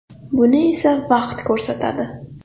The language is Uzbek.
Buni esa vaqt ko‘rsatadi.